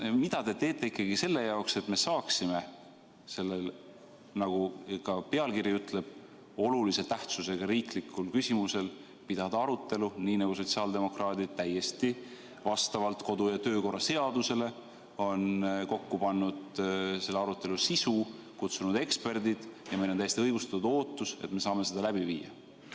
Mida te teete ikkagi selle jaoks, et me saaksime selles, nagu ka pealkiri ütleb, olulise tähtsusega riiklikus küsimuses pidada arutelu, nii nagu sotsiaaldemokraadid täiesti vastavalt kodu- ja töökorra seadusele on kokku pannud selle arutelu sisu, kutsunud eksperdid ja meil on täiesti õigustatud ootus, et me saame seda läbi viia?